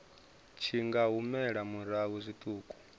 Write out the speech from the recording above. tshi nga humela murahu zwiṱuku